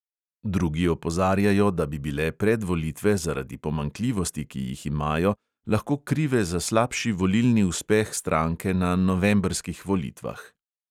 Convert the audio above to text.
Drugi opozarjajo, da bi bile predvolitve zaradi pomanjkljivosti, ki jih imajo, lahko krive za slabši volilni uspeh stranke na novembrskih volitvah.